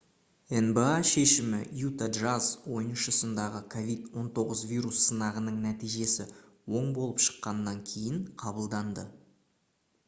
nba шешімі utah jazz ойыншысындағы covid-19 вирус сынағының нәтижесі оң болып шыққаннан кейін қабылданды